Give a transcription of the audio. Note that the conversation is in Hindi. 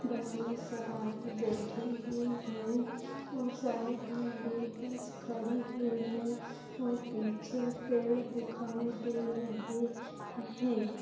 बस मे सवारी बैठी हुई है और साइड मे भी बस खड़ी हुई है और पीछे पेड़ दिखाई रहे है।